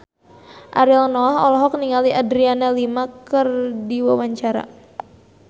Ariel Noah olohok ningali Adriana Lima keur diwawancara